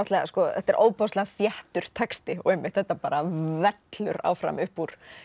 þetta er ofboðslega þéttur texti og einmitt þetta vellur áfram upp úr